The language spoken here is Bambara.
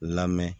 Lamɛn